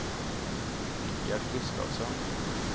Richard Gustavsson